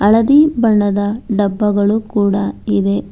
ಹಳದಿ ಬಣ್ಣದ ಡಬ್ಬಗಳು ಕೂಡ ಇವೆ.